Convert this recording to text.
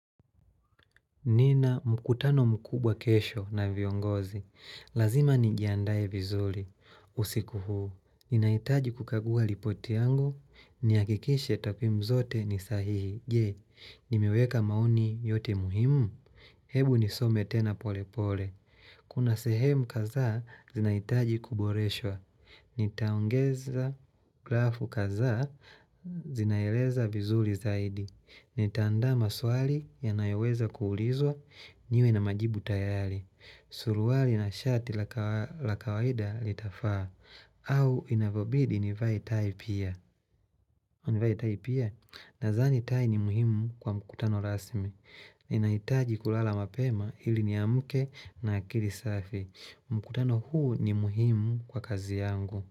Nina mkutano mkubwa kesho na viongozi. Lazima nijiandae vizuli. Usiku huu, ninaitaji kukagua lipoti yangu. Niakikishe takwimu zote ni sahihi. Je, nimeweka maoni yote muhimu. Hebu nisome tena pole pole. Kuna sehemu kazaa, zinaitaji kuboreswa. Nitaongeza grafu kazaa, zinaeleza vizuli zaidi. Nitaanda maswali yanayoweza kuulizwa niwe na majibu tayari Suruali na shati la kawaida litafaa au inavobidi nivae tai pia Nazani tai ni muhimu kwa mkutano rasmi Ninaitaji kulala mapema ili niamke na akiri safi mkutano huu ni muhimu kwa kazi yangu.